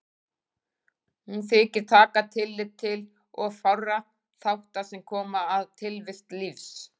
Hún þykir taka tillit til of fárra þátta sem koma að tilvist lífs.